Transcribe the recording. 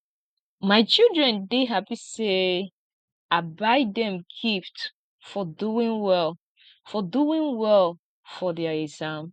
my children dey happy say i buy dem gift for doing well for doing well for their exam